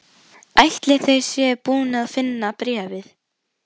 Ætli þau séu búin að finna bréfið?